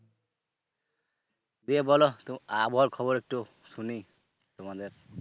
দিয়ে বলো, আবহাওয়ার খবর একটু শুনি তোমাদের।